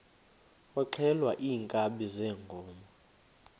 kwaxhelwa iinkabi zeenkomo